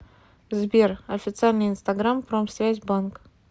сбер официальный инстаграм промсвязь банк